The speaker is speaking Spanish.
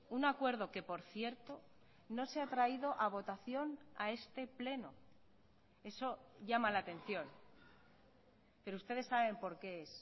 un acuerdo que por cierto no se ha traído a votación a este pleno eso llama la atención pero ustedes saben por qué es